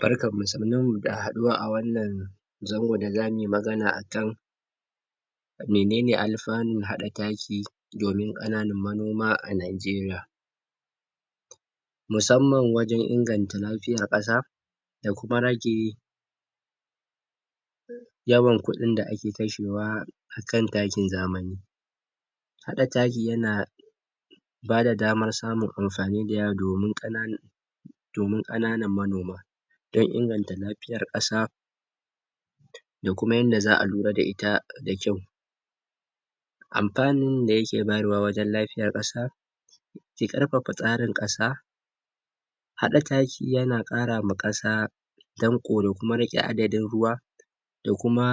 barkan mu sannun mu da haduwa a a zangon da zamuyi magana akan menene alfanun hada taki taki domin kananan manoma a nijeriya musamman wajen ingana lafiyar kasa da kuma rage yawan kudin da ake kashewa akan takin zamani hada taki yana bada damar samun amfani da yawa domin kananan domin kananan manoma don inganta lafiyar kasa da kuma yadda za'a lura da ita kyau alfanun da yake bayyarwa wajen lafiyar kasa ya karfafa tsarin kasa hada taki yana kara ma kasa danko da kuma riqe adadin kasa da kuma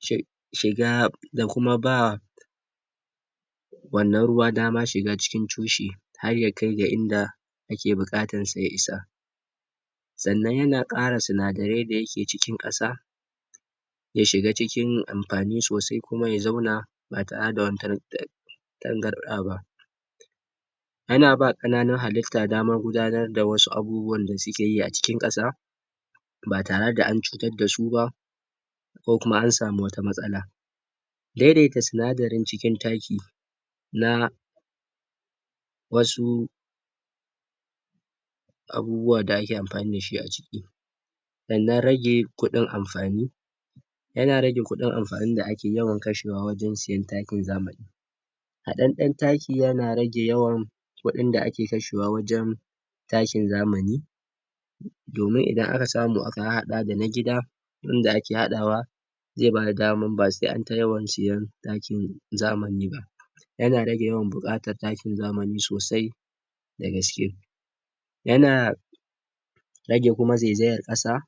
shi shiga da kuma ba wannan ruwa shiga cikin tushe har ya kai da inda ya kai inda ake bukatar da ya isa sannan yana kara sinadarai da yake cikin kasa yashiga cikin amfani sosai kuma ya zauna ba tare dawa wani tarna tangardaba ana bawa wasu kananun halitta damar gunadar da wasu da suketi cikin kasa ba tare da ancutar da su ba ko kuma amsami wata matsala daidaita sinadarin cikin taki na wasu wasu abubuwa da ake amfani dashi na rage kudin amfani yana rage kudin amfani da yawan kashewa wajen siyan takin zamani haɗaɗɗen taki yana rage kudin kudin da ake kashewa wajen takin zamani domin idan aka samu aka har haɗa da na gida wurin da ake haɗawa zai bada daman ba sai an ta yawan siyan takin zamani ba yana rage bukatar takin zamani sosai da gaske yana zai zayar kasa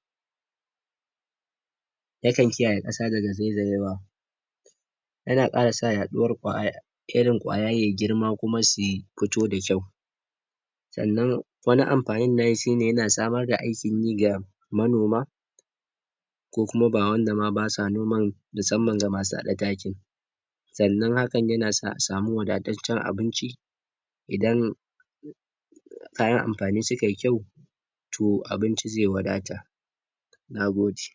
yakan kiyaye kasa daga zai zayewa yana kara sa yaduwar irin ƙaya ya girma kuma ya fito da kyau sannan wani amfanin nan nashi ya na samar da aikin ayi ga manoma ko kuma ba wanda ma basu noman musamman ga masu hada takin sannan hakan yana s asami wadacecen abinci idan kayan amfani suka yi kyau to abinci zai wadata nagode